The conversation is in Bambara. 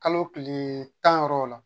Kalo tilee tan yɔrɔw la